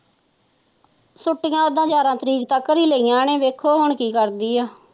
ਛੁਟੀਆਂ ਤਾ ਉਦਾ ਗਿਆਰ੍ਹਾਂ ਤਾਰੀਕ ਤੱਕ ਹੀ ਲਾਇਆ ਨੇ ਵੇਖੋ ਹੁਣ ਕੀ ਕਰਦੀ ਹੈ।